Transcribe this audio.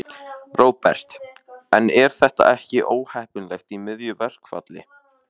Róbert: En er þetta ekki óheppilegt í miðju verkfalli?